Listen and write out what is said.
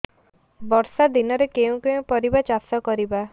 ବର୍ଷା ଦିନରେ କେଉଁ କେଉଁ ପରିବା ଚାଷ କରିବା